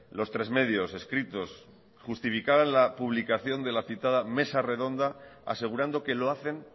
los tres medios escritos que justificaban la publicación de la citada mesa redonda asegurando que lo hacen